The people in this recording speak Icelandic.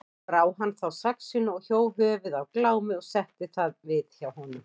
Brá hann þá saxinu og hjó höfuð af Glámi og setti það við þjó honum.